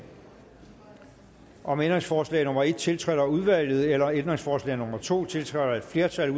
om ændringsforslag nummer en tiltrådt af udvalget eller ændringsforslag nummer to tiltrådt af et flertal